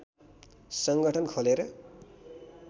सङ्गठन खोलेर